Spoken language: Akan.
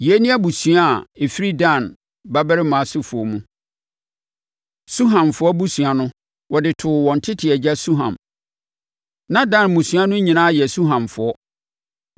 Yei ne abusua a ɛfiri Dan babarima asefoɔ mu. Suhamfoɔ abusua no, wɔde too wɔn tete agya Suham. Na Dan mmusua no nyinaa yɛ Suhamfoɔ.